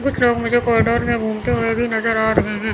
कुछ लोग मुझे कॉरिडोर में घूमते हुए भी नजर आ रहे हैं।